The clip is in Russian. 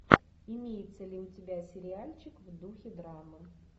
имеется ли у тебя сериальчик в духе драмы